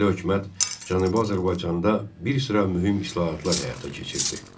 Milli hökumət Cənubi Azərbaycanda bir sıra mühüm islahatlar həyata keçirdi.